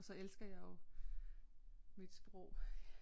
Og så elsker jeg jo mit sprog